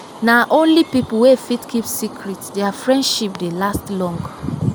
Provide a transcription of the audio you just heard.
na only pipo wey fit keep secret dia friendship dey last long.